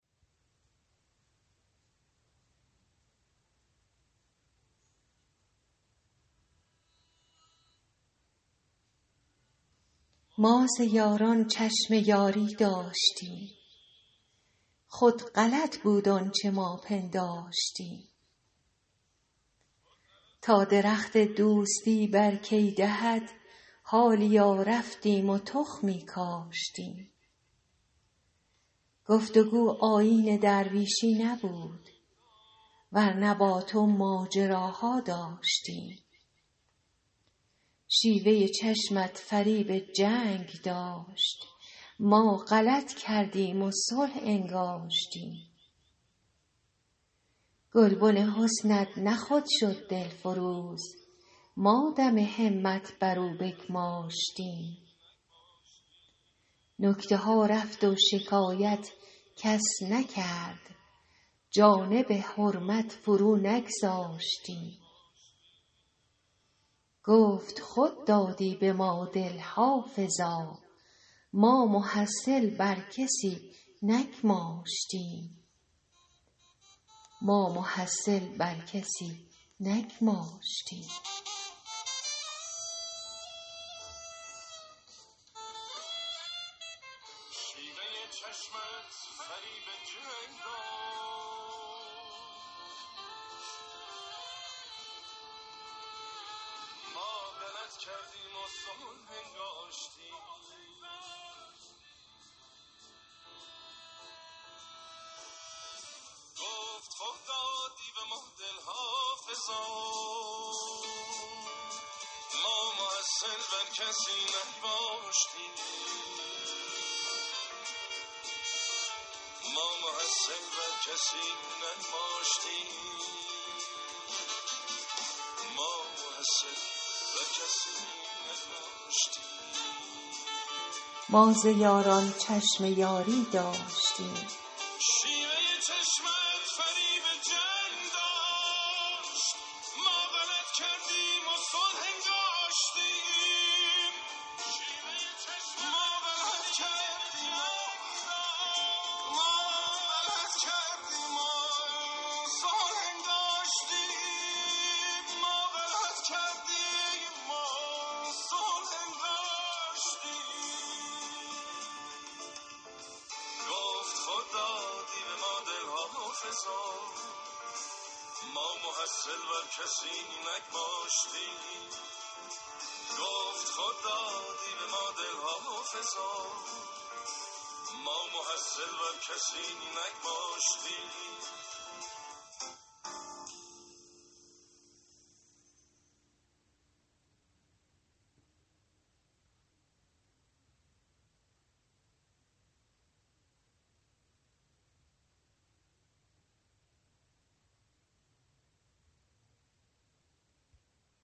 ما ز یاران چشم یاری داشتیم خود غلط بود آنچه ما پنداشتیم تا درخت دوستی بر کی دهد حالیا رفتیم و تخمی کاشتیم گفت و گو آیین درویشی نبود ور نه با تو ماجراها داشتیم شیوه چشمت فریب جنگ داشت ما غلط کردیم و صلح انگاشتیم گلبن حسنت نه خود شد دلفروز ما دم همت بر او بگماشتیم نکته ها رفت و شکایت کس نکرد جانب حرمت فرو نگذاشتیم گفت خود دادی به ما دل حافظا ما محصل بر کسی نگماشتیم